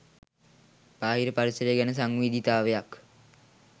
බාහිර පරිසරය ගැන සංවේදීතාවයක්